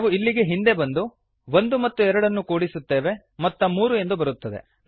ನಾವು ಇಲ್ಲಿಗೆ ಹಿಂದೆ ಬಂದು ಒಂದು ಮತ್ತು ಎರಡನ್ನು ಕೂಡಿಸುತ್ತೇವೆ ಮೊತ್ತ ಮೂರು ಎಂದು ಬರುತ್ತದೆ